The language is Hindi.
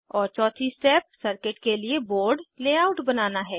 और चौथी स्टेप सर्किट के लिए बोर्ड लेआउट बनाना है